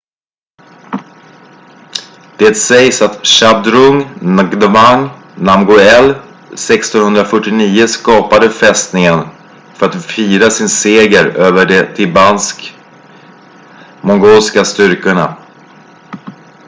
det sägs att zhabdrung ngawang namgyel 1649 skapade fästningen för att fira sin seger över de tibetansk-mongolska styrkorna